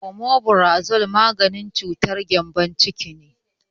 Omefrazo maganin cutar gembon ciki ne